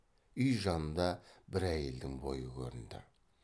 үй жанында бір әйелдің бойы көрінді